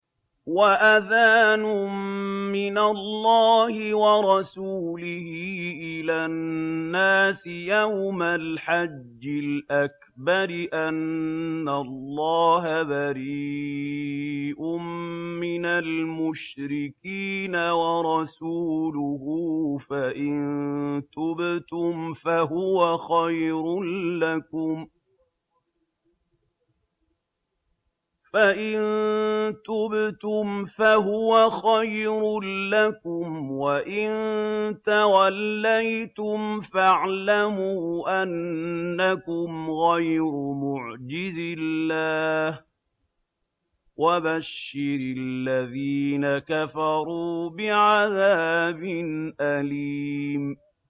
وَأَذَانٌ مِّنَ اللَّهِ وَرَسُولِهِ إِلَى النَّاسِ يَوْمَ الْحَجِّ الْأَكْبَرِ أَنَّ اللَّهَ بَرِيءٌ مِّنَ الْمُشْرِكِينَ ۙ وَرَسُولُهُ ۚ فَإِن تُبْتُمْ فَهُوَ خَيْرٌ لَّكُمْ ۖ وَإِن تَوَلَّيْتُمْ فَاعْلَمُوا أَنَّكُمْ غَيْرُ مُعْجِزِي اللَّهِ ۗ وَبَشِّرِ الَّذِينَ كَفَرُوا بِعَذَابٍ أَلِيمٍ